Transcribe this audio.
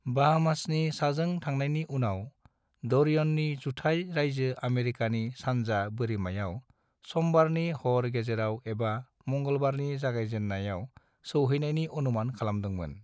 बाहामासनि साजों थांनायनि उनाव , डोरियननि जुथाइ रायजो आमेरिकानि सानजा बोरिमायाव समबारनि हर गेजेराव एबा मंगलबारनि जागायजेननायाव सौहैनायनि अनुमान खालामदोंमोन।